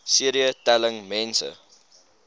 cd telling mense